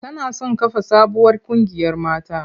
Tana son kafa sabuwar ƙungiyar mata.